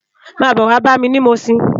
Má bò wá bámi ni Mushin